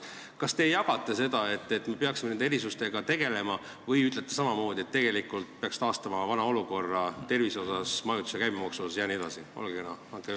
Kas te jagate seda mõtet, et me peaksime nende erisustega tegelema, või ütlete samamoodi, et tegelikult peaks taastama tervisekulude, majutuskulude käibemaksu jne asjus vana olukorra?